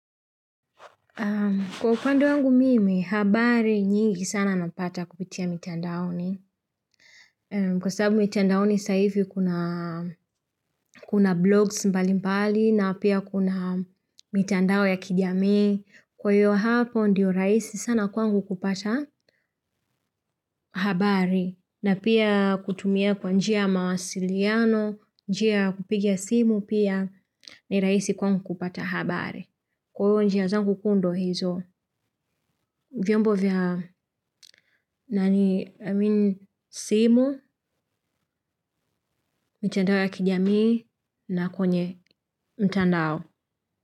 Kwa upande wangu mimi, habari nyingi sana napata kupitia mtandaoni. Kwa sababu mitandaoni sahizi kuna blogs mbali mbali na pia kuna mitandao ya kijamii. Kwa hiyo hapo ndiyo rahisi sana kwangu kupata habari na pia kutumia kwa njia ya mawasiliano, njia ya kupigia simu pia ni raisi kwangu kupata habari. Kwa hiyo njia zangu kuu ndio hizo, vyombo vya nani amin simu, mtandao ya kijamii na kwenye mtandao.